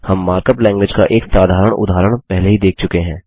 हम markup language का एक साधारण उदाहरण पहले ही देख चुके हैं